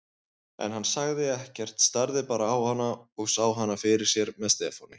En hann sagði ekkert, starði bara á hana og sá hana fyrir sér með Stefáni.